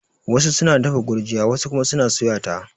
Wasu suna dafa gurjiya wasu kuma suna suya ta